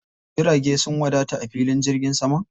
Jirage sun wadata a filin jirgin saman?